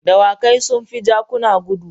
Dawakai sun fi jakuna gudu.